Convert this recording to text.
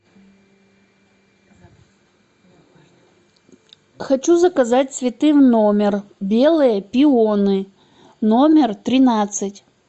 хочу заказать цветы в номер белые пионы номер тринадцать